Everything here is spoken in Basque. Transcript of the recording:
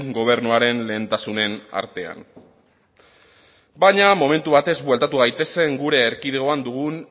gobernuaren lehentasunen artean baina momentu batez bueltatu gaitezen gure erkidegoan dugun